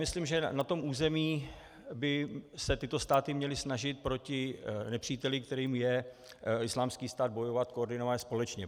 Myslím, že na tom území by se tyto státy měly snažit proti nepříteli, kterým je Islámský stát, bojovat koordinovaně, společně.